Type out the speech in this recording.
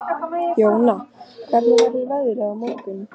Jóna, hvernig verður veðrið á morgun?